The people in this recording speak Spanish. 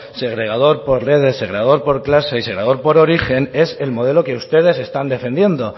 segregador por redes segregador por clase y segregador por origen es el modelo que ustedes están defendiendo